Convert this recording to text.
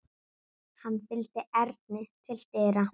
Hann fylgdi Erni til dyra.